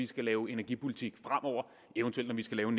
skal lave energipolitik eventuelt når vi skal lave